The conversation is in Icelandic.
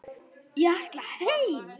Ég ætla heim!